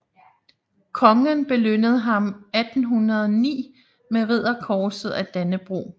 Kongen belønnede ham 1809 med Ridderkorset af Dannebrog